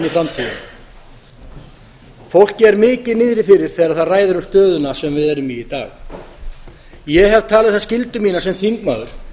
framtíðina fólki er mikið niðri fyrir þegar það ræðir um stöðuna sem við erum í í dag ég hef talið það skyldu mína sem þingmaður